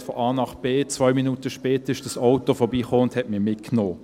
Ich möchte von A nach B. Zwei Minuten später kam das Auto vorbei und nahm mich mit.